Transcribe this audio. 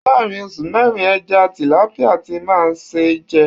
Láàárín oṣù mẹ́rin, ẹja Tìlápíà ti máa ṣe ń jẹ.